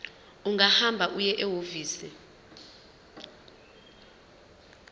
ungahamba uye ehhovisi